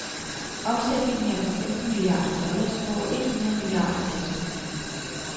Omsætningen er på femten milliarder dollars, over et hundrede milliarder danske kroner.